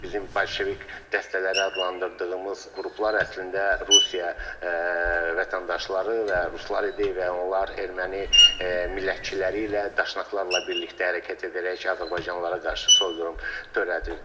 Bizim bolşevik dəstələri adlandırdığımız qruplar əslində Rusiya vətəndaşları və ruslar idi və onlar erməni millətçiləri ilə, daşnaklarla birlikdə hərəkət edərək azərbaycanlılara qarşı soyqırım törədirdilər.